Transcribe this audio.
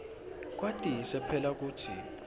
kwatise phela kutsi